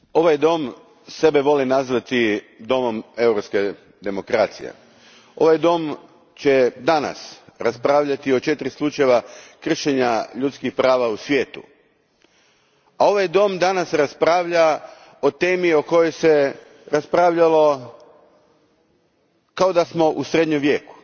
Gospodine predsjedniče, ovaj dom sebe voli nazvati domom europske demokracije. Ovaj dom će danas raspravljati o četiri slučaja kršenja ljudskih prava u svijetu. Ovaj dom danas raspravlja o temi o kojoj se raspravljalo kao da smo u Srednjem vijeku,